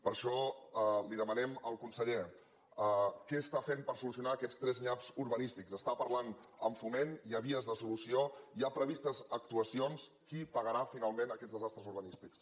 per això li demanem al conseller què està fent per solucionar aquests tres nyaps urbanístics està parlant amb foment hi ha vies de solució hi ha previstes actuacions qui pagarà finalment aquests desastres urbanístics